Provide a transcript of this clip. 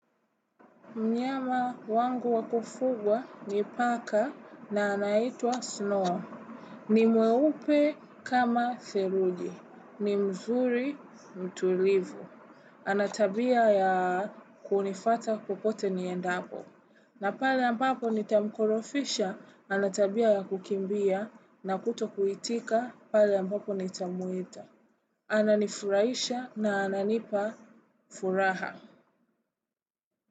Mnyama wangu wakufugwa ni Paka na anaitwa Snow. Ni mweupe kama Theluji. Ni mzuri mtulivu. Ana tabia ya kunifuata kokote niendapo. Na pale ambapo nitamkorofisha ana tabia ya kukimbia na kutokuitika pale ambapo nitamwita. Ananifurahisha na ananipa furaha.